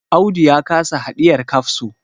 Audu ya kasa hidiyar kafso